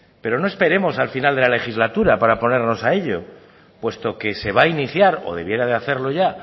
pero no esperemos al final de la legislatura para podernos a ello puesto que se va iniciar o debiera de hacerlo ya